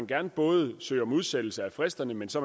gerne både søge om udsættelse af fristerne men så